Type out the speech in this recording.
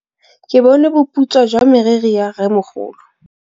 Ke bone boputswa jwa meriri ya rrêmogolo.